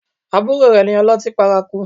Àbúrò rẹ ni ọlọ́tí paraku